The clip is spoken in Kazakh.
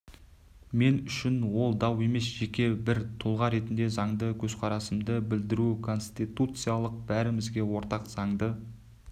мен үшін ол дау емес жеке бір тұлға ретінде заңды көзқарасымды білдіру конституциясы бәрімізге ортақ заңды